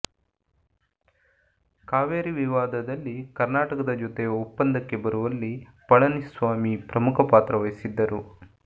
ಕಾವೇರಿ ವಿವಾದದಲ್ಲಿ ಕರ್ನಾಟಕದ ಜೊತೆ ಒಪ್ಪಂದಕ್ಕೆ ಬರುವಲ್ಲಿ ಪಳನಿಸ್ವಾಮಿ ಪ್ರಮುಖ ಪಾತ್ರ ವಹಿಸಿದ್ದರು